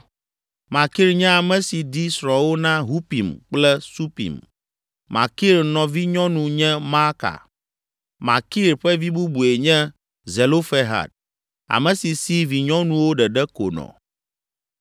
Makir nye ame si di srɔ̃wo na Hupim kple Supim. Makir nɔvinyɔnu nye Maaka. Makir ƒe vi bubue nye Zelofehad, ame si si vinyɔnuwo ɖeɖe ko nɔ.